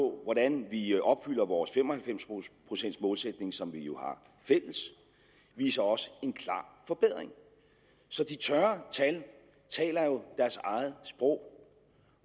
hvordan vi opfylder vores fem og halvfems procents målsætning som vi jo har fælles viser også en klar forbedring så de tørre tal taler jo deres eget sprog